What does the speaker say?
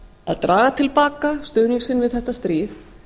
að draga til baka stuðning sinn við þetta stríð